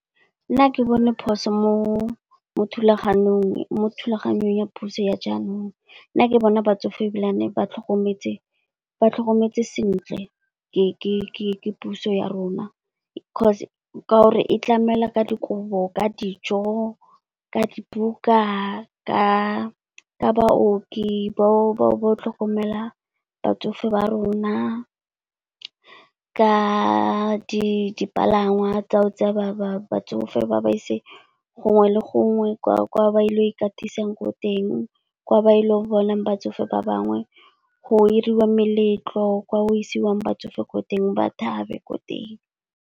Nna ga ke bone phoso mo thulaganyong ya puso ya jaanong, nna ke bona batsofe ebilane ba tlhokometwse sentle ke puso ya rona. Coz ka gore e tlamela ka dikobo, ka dijo, ka dibuka, ka baooki, ba go tlhokomela batsofe ba rona. Ka dipalangwa tsa go tseya ba batsofe ba ba ise gongwe le gongwe kwa ba ile go ikatisang ko teng. Kwa ba ileng bona batsofe ba bangwe, go iriwa meletlo kwa go isiwang batsofe ko teng, ba thabe ko teng.